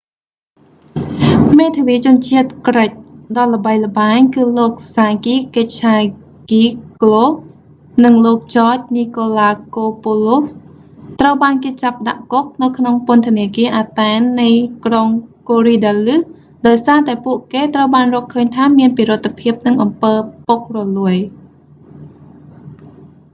មេធាវីជនជាតិក្រិចដ៏ល្បីល្បាញ គឺលោកសាគីស កិចឆាហ្គីកហ្គ្លូ sakis kechagioglou និងលោក ចច នីកូឡាកូពូឡូស george nikolakopoulos ត្រូវបានគេចាប់ដាក់គុកនៅក្នុងពន្ធនាគារ អាតែន athen នៃក្រុង កូរីដាលឹស korydallus ដោយសារតែពួកគេត្រូវបានរកឃើញថាមានពិរុទ្ធភាពនិងអំពើពុករលួយ